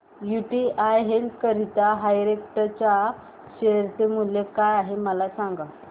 UTI healthcare direct च्या share चे मूल्य काय आहे मला सांगा